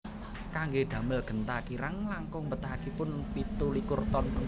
Kanggé damel genta kirang langkung mbetahaken pitu likur ton perunggu